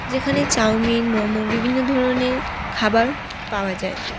যেখানে চাওমিন মোমো বিভিন্ন ধরনের খাবার পাওয়া যায়।